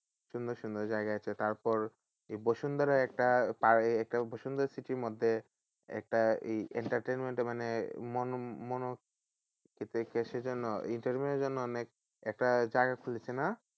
সুন্দর সুন্দর জায়গা আছে তারপর বসুন্ধরা একটা আহ একটা বসুন্ধরা city র মধ্যে একটা এই entertainment মানে সেই জন্য entertainment এর জন্য অনেক একটা জায়গা খুজে ছিলাম